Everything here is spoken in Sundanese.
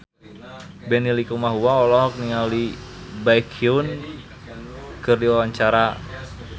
Benny Likumahua olohok ningali Baekhyun keur diwawancara